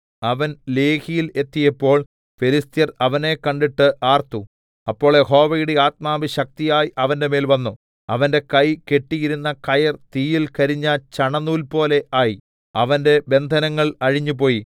അവൻ ലേഹിയിൽ എത്തിയപ്പോൾ ഫെലിസ്ത്യർ അവനെ കണ്ടിട്ട് ആർത്തു അപ്പോൾ യഹോവയുടെ ആത്മാവ് ശക്തിയായി അവന്റെമേൽ വന്നു അവന്റെ കൈ കെട്ടിയിരുന്ന കയർ തീയിൽ കരിഞ്ഞ ചണനൂൽപോലെ ആയി അവന്റെ ബന്ധനങ്ങൾ അഴിഞ്ഞുപോയി